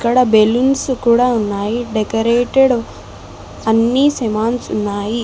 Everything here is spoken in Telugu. బెలూన్స్ కూడా ఉన్నాయి డెకరేటేడ్ అన్ని సేమాన్స్ ఉన్నాయి.